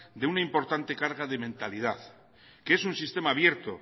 de una importante carga de mentalidad que es un sistema abierto